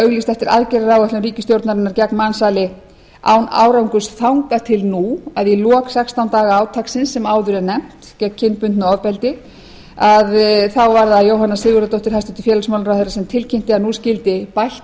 auglýst eftir aðgerðaáætlun ríkisstjórnarinnar gegn mansali án árangurs þangað til nú að í lok sextán daga átaksins sem áður er nefnt gegn kynbundnu ofbeldi var það jóhanna sigurðardóttir hæstvirts félagsmálaráðherra sem tilkynnti að nú skyldi bætt